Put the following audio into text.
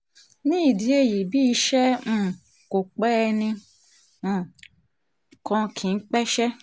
nídìí èyí bí iṣẹ́ um kò pẹ́ ni ẹnì um kan kì í pẹ́ṣẹ́